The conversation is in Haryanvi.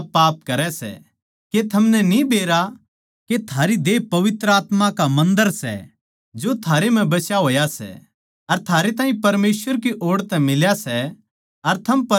के थमनै न्ही बेरा के थारी देह पवित्र आत्मा का मन्दर सै जो थारै म्ह बस्या होया सै अर थारै ताहीं परमेसवर की ओड़ तै मिल्या सै अर थम परमेसवर के सो